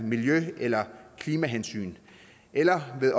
miljø eller klimahensyn eller med